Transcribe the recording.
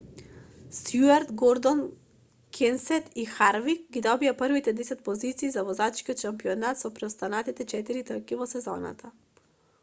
стујарт гордон кенсет и харвик ги добија првите десет позиции за возачкиот шампионат со преостанати четири трки во сезоната